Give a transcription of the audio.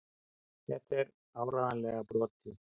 Þetta er áreiðanlega brotið.